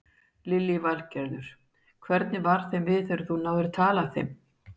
Lillý Valgerður: Hvernig varð þeim við þegar þú náðir tali af þeim?